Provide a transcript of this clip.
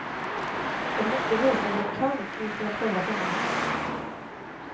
De måste visa vad de kan i internationella sammanhang.